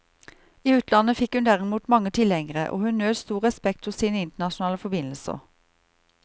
I utlandet fikk hun derimot mange tilhengere, og hun nøt stor respekt hos sine internasjonale forbindelser.